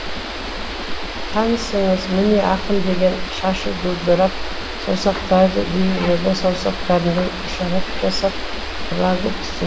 танысаңыз міне ақын деген шашы дударып саусақтары дирижердің саусақтарындай ишарат жасап фрагы түсіндім